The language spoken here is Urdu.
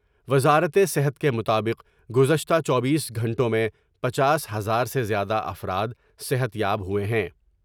وزارت صحت کے مطابق گزشتہ چوبیس گھنٹوں میں پنچاس ہزار سے زیادہ افراد صحت یاب ہوۓ ہیں ۔